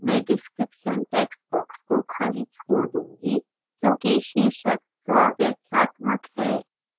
मैं description textbox को खाली छोड़ दूंगी क्योंकि शीर्षक स्वव्याख्यात्मक है